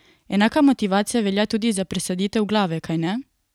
Enaka motivacija velja tudi za presaditev glave, kajne?